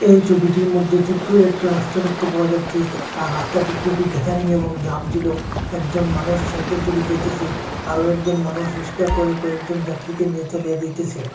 এই ছবিটির মদ্যে ছোট্ট একটা রাস্তা দেখতে পাওয়া যাচ্ছে আর রাস্তাটি কুবই এবং জাম ছিল একজন মানুষ সাইকেল চড়ে যাইতেসে আরো একজন মানুষ রিসকা করে কয়েকজন যাত্রীকে নিয়ে চলিয়া যাইতেসে।